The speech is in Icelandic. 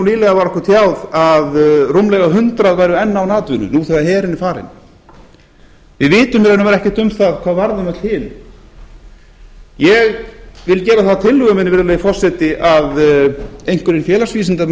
nýlega var okkur tjáð að rúmlega hundrað væru enn án atvinnu nú þegar herinn er farinn við vitum í raun og veru ekkert um það hvað var um öll hin ég vil gera það að tillögu minni virðulegi forseti að einhverjir félagsvísindamenn